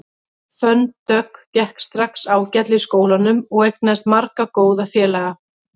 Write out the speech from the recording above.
Fönn Dögg gekk strax ágætlega í skólanum og eignaðist marga góða félaga.